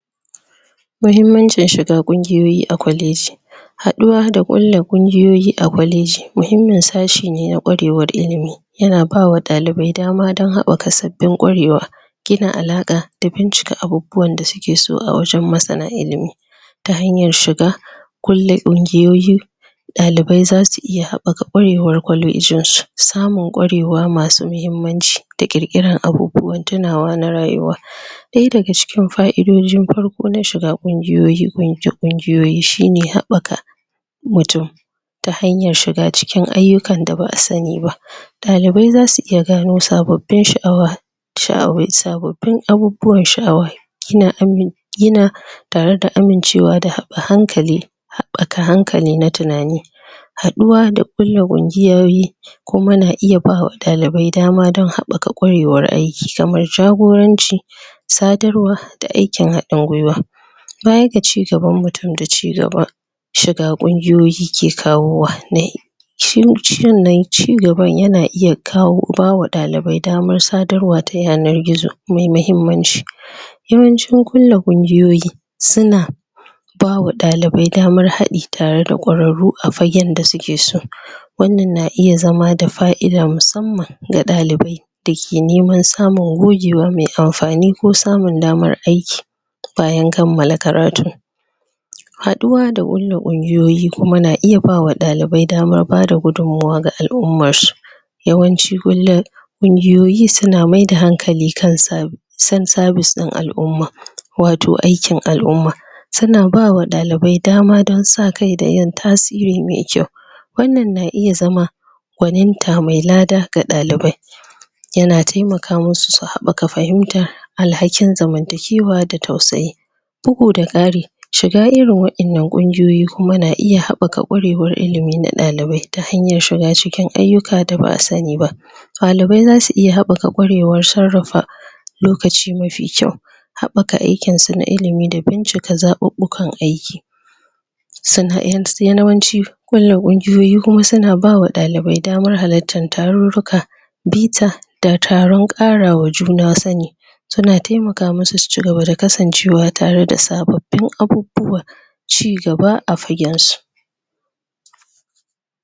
mahimmancin shiga kungiyoyi a kwaleji haduwa da kulla kungiyoyi a kwalejimahimmin sashe ne na kwarewar ilimi yana bawa dalibai dama don habaka sabbin kwarewa kulla alaka da bincika abubuwan da suke so a wajen masana ilimi ta hanyar shiga kulla kungiyoyi dalibai za su iya habaka kwarewa kwalejin su samun kwarewa masu mahimmanci da kirkira na bubuwan tunawan rayuwa daya daga cikin ka'idojin farko na shiga kungiyoyi shine habaka mutum ta hanyar shiga cikin ayukan da ba'a sani ba dalibai zasu iya gano sabbin sha'awa sha'awai sabbabin abubuwan sha'awa kina yina tare da amincewa da hankali habaka hankali da tunani haduwa da kulla kungiyoyi kuma na iya bawa dalibai dama don habaka kungiyar kwarewar aiki kamar jagoranci sadarwa da aikin hadin gwiwa baya ga cigaban mutum da cigaba shiga kungiyoyi ke kawowa nai shi cigaban yana iya kawo bawa dalibai damar sadarwa ta yanar gizomai mahimmanci yawancin kulla kungiyoyi suna bawa dalibai damar hadi tare da kwararru a fagen da suke so wannan na iya zama da fa'ida musammanga dalibai dake neman samun gogewa me amfani ko samun damar aiki bayan kammala karatu haduwa da kulla kungiyoyi kuma na iya bawa dalibai damar bada gudun muwa ga al'ummar su yawanci kulla kungiyoyi suna maida hankali kan sa san sabis din al'umma wato aikin al'umma suna bawa dalibai dama don sakai da yin tasiri mai kyau wannan na iya zama gwaninta mai lada ga dalibai yana taimakama masu su habaka fahimta alhakin zamantakewa da tausayi buguda kari shiga irin wadannan kungiyoyi yana iya habaka ilimi na dalibai ta hanyar shiga cikin ayuka da ba'a sani ba dalibai zasu iya habaka kwarewar sarrafa lokaci mafi kyau habaka aikinsu na ilimi da bincika zabubbukan aiki sannan yawanci kulla kungiyoyi kuma suna bawa dalibai damar halarta tarurruka bita da taron karawa juna sani tana taimaka masu su cigaba da kasancewa tare da sababbin abubuwan cigaba a fagen su